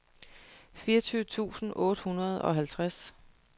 fireogtyve tusind otte hundrede og halvtreds